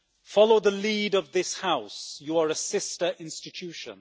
Follow the lead of this House, you are a sister institution.